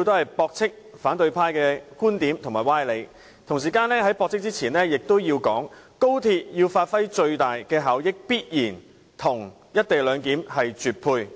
為駁斥反對派的觀點和歪理，而在作出駁斥前，我亦要指出，要廣深港高速鐵路發揮最大效益，便必須"一地兩檢"配合。